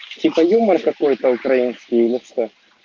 типа юмор какой то украинский ёпста